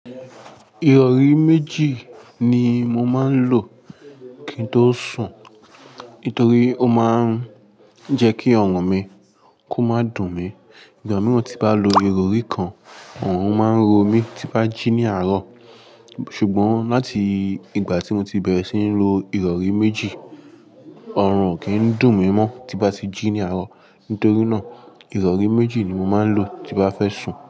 Ìrọ̀rí méjì ni mo máa ń lò kí n tó sùn nítorí ó máa ń jẹ́ kí ọ̀rùn mi kó máa dùn mí. Ìgbà mìíràn tí bá lo ìrọ̀rí kan, ọ̀rùn máa ń ro mí tí bá jí ní àárọ̀. Ṣùgbọ́n láti ìgbà tí mo ti bẹ̀rẹ̀ sí ní lo ìrọ̀rí méjì, ọ̀rùn kì í dùn mí mọ́ tí bá ti jí ní àárọ̀. Nítorí náà, ìrọ̀rí méjì ni mo máa ń lò tí bá fẹ́ sùn.